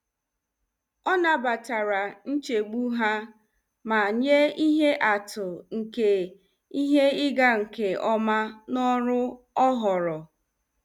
Ọ nabatara nchegbu ha ma nye ihe atụ nke ihe ịga nke ọma n'ọrụ ọ họọrọ.